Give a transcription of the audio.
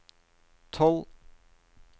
tolv